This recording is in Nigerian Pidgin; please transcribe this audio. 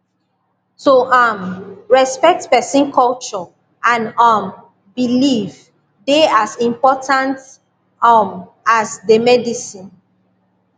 to um respect person culture and um belief dey as important um as the medicine